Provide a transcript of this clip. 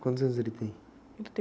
Quantos anos ele tem?le tem